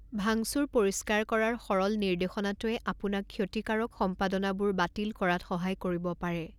ভাংচুৰ পৰিষ্কাৰ কৰাৰ সৰল নিৰ্দেশনাটোৱে আপোনাক ক্ষতিকাৰক সম্পাদনাবোৰ বাতিল কৰাত সহায় কৰিব পাৰে।